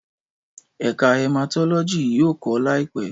Ẹka Hematology yoo kọ laipẹ